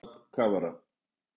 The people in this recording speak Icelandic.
Hákarl drap kafara